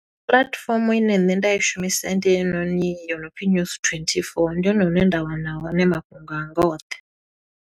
Puḽatifomo ine nṋe nda i shumisa ndi heyinoni yo no pfi News24, ndi hone hune nda wana hone mafhungo anga oṱhe.